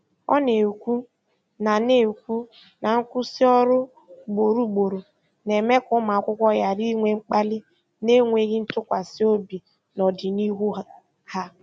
Ọ na-ekwu na na-ekwu na nkwụsị ọrụ ugboro ugboro na-eme ka ụmụakwụkwọ ghara inwe mkpali na enweghị ntụkwasị obi n'ọdịnihu ha.